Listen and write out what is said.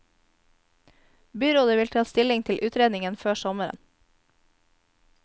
Byrådet vil ta stilling til utredningen før sommeren.